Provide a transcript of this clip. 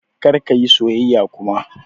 Kar ka yi soyayya kuma!